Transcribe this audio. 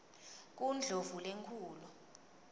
kundlovulenkulu